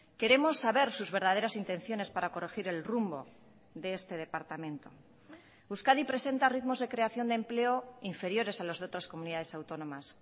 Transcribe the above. queremos saber sus verdaderas intenciones para corregir el rumbo de este departamento euskadi presenta ritmos de creación de empleo inferiores a los de otras comunidades autónomas